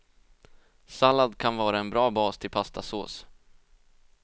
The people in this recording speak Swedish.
Sallad kan vara en bra bas till pastasås.